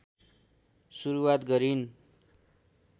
सुरुवात गरिन्